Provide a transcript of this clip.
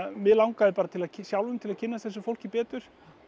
mig langaði sjálfum til að kynnast þessu fólki betur